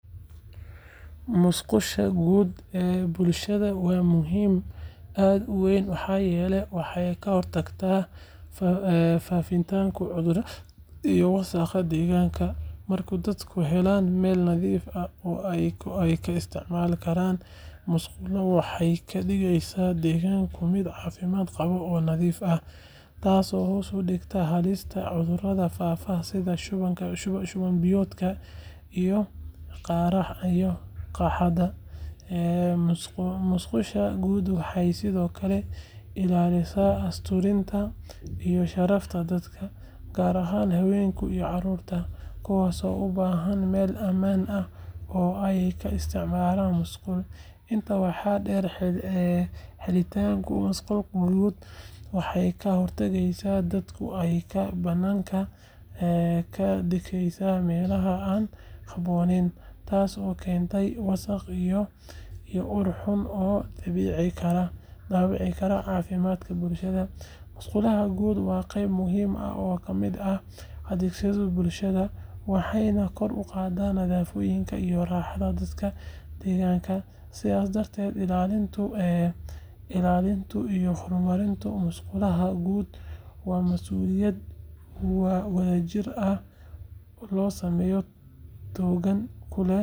Musqusha guud ee bulshada waa muhiim aad u weyn maxaa yeelay waxay ka hortagtaa faafitaanka cudurrada iyo wasakhda deegaanka. Marka dadku helaan meel nadiif ah oo ay ka isticmaali karaan musqusha, waxay ka dhigeysaa deegaanka mid caafimaad qaba oo nadiif ah, taasoo hoos u dhigta halista cudurrada faafa sida shuban biyoodka iyo qaaxada. Musqusha guud waxay sidoo kale ilaalisaa asturnaanta iyo sharafta dadka, gaar ahaan haweenka iyo carruurta, kuwaas oo u baahan meel ammaan ah oo ay ka isticmaalaan musqusha. Intaa waxaa dheer, helitaanka musqusha guud waxay ka hortagtaa in dadka ay ka banaanka ka dhigtaan meelaha aan habboonayn, taasoo keenta wasakh iyo ur xun oo dhaawici kara caafimaadka bulshada. Musqusha guud waa qayb muhiim ah oo ka mid ah adeegyada bulshada, waxayna kor u qaadaa nadaafadda iyo raaxada dadka deegaanka. Sidaas darteed, ilaalinta iyo horumarinta musqusha guud waa masuuliyad wadajir ah oo saameyn togan ku leh.